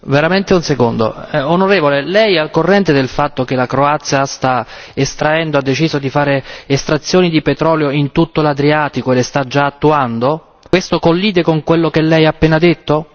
Signora Presidente, onorevoli colleghi, onorevole, Lei è al corrente del fatto che la Croazia sta estraendo, ha deciso di fare estrazioni di petrolio in tutto l'Adriatico e le sta già attuando? Questo collide con quello che Lei ha appena detto?